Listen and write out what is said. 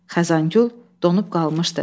Xəzangül donub qalmışdı.